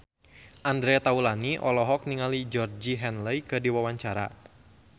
Andre Taulany olohok ningali Georgie Henley keur diwawancara